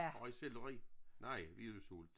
Har i selleri? Nej vi er udsolgt